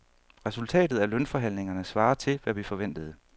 Resultatet af lønforhandlingerne svarer til, hvad vi forventede.